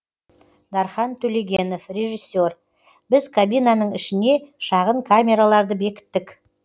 дархан төлегенов режиссер біз кабинаның ішіне шағын камераларды бекіттік